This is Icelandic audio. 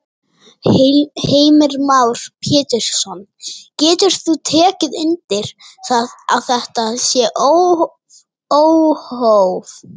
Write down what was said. Heimir Már Pétursson: Getur þú tekið undir það að þetta sé óhóf?